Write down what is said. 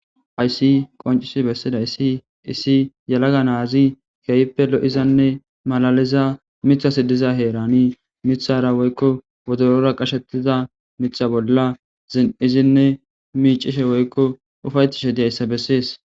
Hayssi qoncisi besidaysi issi yelaga nazi miithaz diza heran mithara woyko wodorora qachetida Mitha bolla zin'idinne micishe woyko ufayetishe dizaysa beses